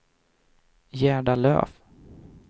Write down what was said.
Gerda Löf